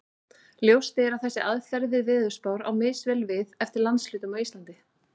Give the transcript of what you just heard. Ljóst er að þessi aðferð við veðurspár á misvel við eftir landshlutum á Íslandi.